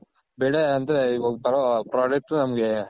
ಬೆಳೆ ಅಂದ್ರೆ ಬರೋ Product ನಮ್ಗೆ .